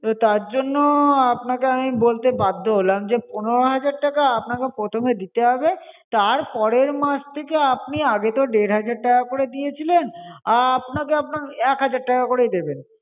তো তার জন্য আপনাকে আমি বলতে বাধ্য হলাম যে পনেরো হাজার টাকা আপনাকে প্রথমে দিতে হবে, তারপরের মাস থেকে আপনি আগে তো দেড় হাজার টাকা করে দিয়েছিলেন, আহ আপনাকে আপনার এক হাজার টাকা করেই দেবেন।